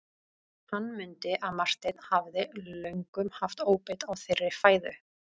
Hann mundi að Marteinn hafði löngum haft óbeit á þeirri fæðu.